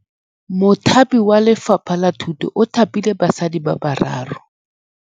Mothapi wa Lefapha la Thutô o thapile basadi ba ba raro.